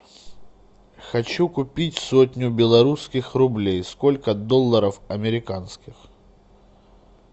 хочу купить сотню белорусских рублей сколько долларов американских